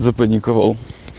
запаниковал